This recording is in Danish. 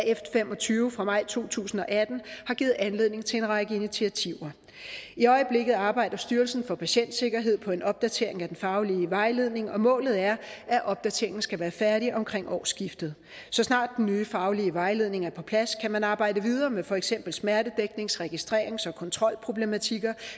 f fem og tyve fra maj to tusind og atten har givet anledning til en række initiativer i øjeblikket arbejder styrelsen for patientsikkerhed på en opdatering af den faglige vejledning og målet er at opdateringen skal være færdig omkring årsskiftet så snart den nye faglige vejledning er på plads kan man arbejde videre med for eksempel smertedæknings registrerings og kontrolproblematikker